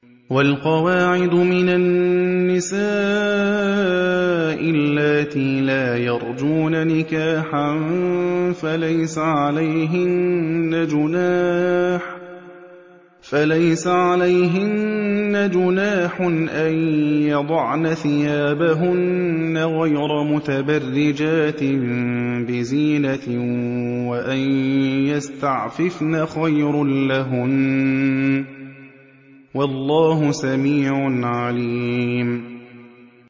وَالْقَوَاعِدُ مِنَ النِّسَاءِ اللَّاتِي لَا يَرْجُونَ نِكَاحًا فَلَيْسَ عَلَيْهِنَّ جُنَاحٌ أَن يَضَعْنَ ثِيَابَهُنَّ غَيْرَ مُتَبَرِّجَاتٍ بِزِينَةٍ ۖ وَأَن يَسْتَعْفِفْنَ خَيْرٌ لَّهُنَّ ۗ وَاللَّهُ سَمِيعٌ عَلِيمٌ